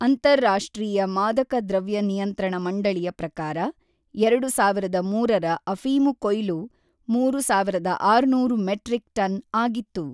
ಅಂತರಾಷ್ಟ್ರೀಯ ಮಾದಕ ದ್ರವ್ಯ ನಿಯಂತ್ರಣ ಮಂಡಳಿಯ ಪ್ರಕಾರ, ಎರಡು ಸಾವಿರದ ಮೂರರ ಅಫೀಮು ಕೊಯ್ಲು ಮೂರು ಸಾವಿರದ ಆರುನೂರು ಮೆಟ್ರಿಕ್ ಟನ್ ಆಗಿತ್ತು.